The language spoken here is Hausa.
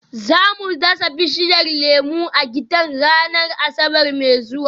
Za mu dasa bishiyar lemu a gidan ranar Asabar mai zuwa